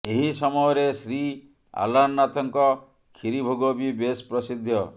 ଏହି ସମୟରେ ଶ୍ରୀ ଅଲାରନାଥଙ୍କ ଖିରିଭୋଗ ବି ବେଶ୍ ପ୍ରସିଦ୍ଧ